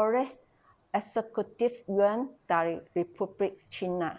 oleh eksekutif yuan dari republik china